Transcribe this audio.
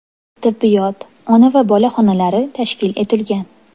Tibbiyot, ona va bola xonalari tashkil etilgan.